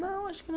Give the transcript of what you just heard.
Não, acho que